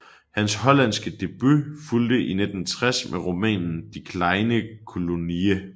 Hans hollandske debut fulgte i 1960 med romanen De kleine kolonie